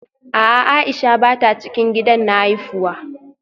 A'a Aisha bata cikin gidan na haifuwa